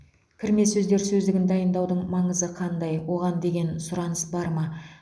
кірме сөздер сөздігін дайындаудың маңызы қандай оған деген сұраныс бар ма